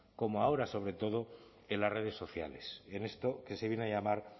como ahora sobre todo en las redes sociales en esto que se viene a llamar